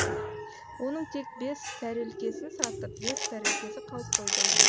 оның тек бес тәрелкесін сатып бес тәрелкесі қалып қойды